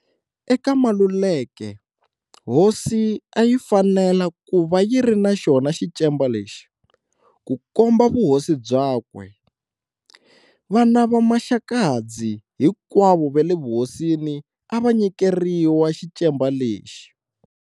Eka Maluleke, hosi a yi fanela ku va yi ri na xona xicemba lexi, ku komba vuhosi byakwe. Vana va Maxakadzi hinkwavo va le vuhosini a va nyikeriwa xicemba lexi.